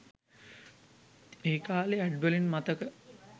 ඒකාලේ ad වලින් මතක